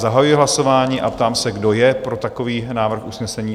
Zahajuji hlasování a ptám se, kdo je pro takový návrh usnesení?